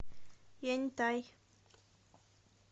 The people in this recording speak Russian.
яньтай